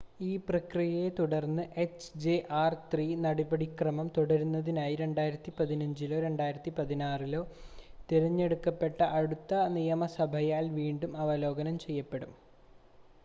ഈ പ്രക്രിയയെ തുടർന്ന് എച്ച്ജെആർ-3 നടപടിക്രമം തുടരുന്നതിനായി 2015-ലോ 2016-ലോ തിരഞ്ഞെടുക്കപ്പെട്ട അടുത്ത നിയമസഭയാൽ വീണ്ടും അവലോകനം ചെയ്യപ്പെടും